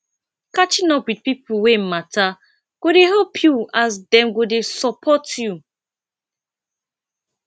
catching up with people wey matter go dey help you as dem go dey support you